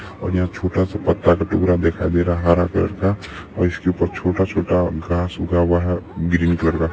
और यहाँ छोटा सा पत्ता दिखाई दे रहा है हरा कलर का और इसके ऊपर छोटा-छोटा घास उगा हुआ है ग्रीन कलर का।